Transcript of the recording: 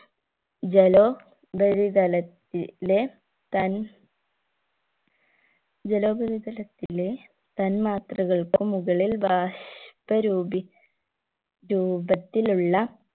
ജലോ പരിതല ത്തിലെ തൻ ജലോപരിതലത്തിലെ തന്മാത്രകൾക്കു മുകളിൽ ബാഷ്പ രൂപി രൂപത്തിലുള്ള